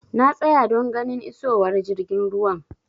Na tsaya don ganin isowar jirgin ruwan.